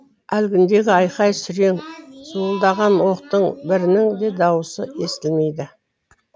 әлгіндегі айқай сүрең зуылдаған оқтың бірінің де дауысы естілмейді